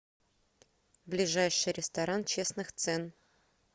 ближайший ресторан честных цен